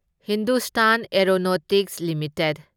Hindustan Aeronautics limited